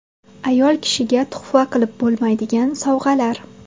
Ayol kishiga tuhfa qilib bo‘lmaydigan sovg‘alar.